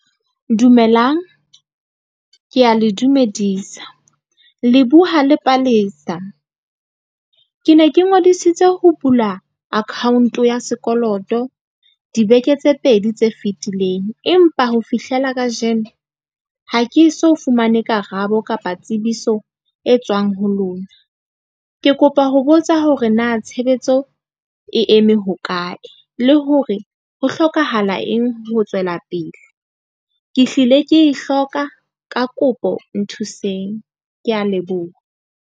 Dumelang, ke a le dumedisa le buha le Palesa. Ke ne ke ngodisitse ho bula account ya sekoloto dibeke tse pedi tse fitileng, empa ho fihlela kajeno ha ke so fumane karabo kapa tsebiso e tswang ho lona. Ke kopa ho botsa hore na tshebetso e eme hokae le hore ho hlokahala eng ho tswela pele. Ke hlile ke e hloka ka kopo nthuseng. Ke a leboha.